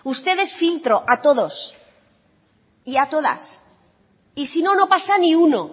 uno ustedes filtro a todos y a todas y si no no pasa ni uno